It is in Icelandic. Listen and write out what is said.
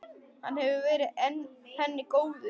Hann hefur verið henni góður.